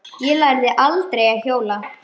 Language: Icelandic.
Ég lærði aldrei að hjóla.